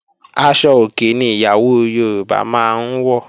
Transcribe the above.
Aṣọ òkè ni ìyàwó Yorùbá máa ń wọ̀